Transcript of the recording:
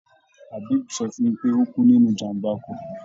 Habib sọ fún mi pé ó kú nínú ìjàm̀bá ọkọ̀.